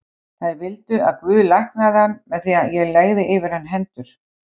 Þær vildu að Guð læknaði hann með því að ég legði yfir hann hendur.